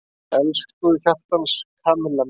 Elsku hjartans Kamilla mín!